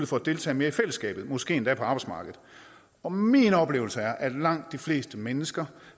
for at deltage mere i fællesskabet måske endda på arbejdsmarkedet og min oplevelse er at langt de fleste mennesker